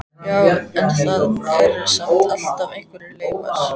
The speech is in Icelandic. Já, en það eru samt alltaf einhverjar leifar.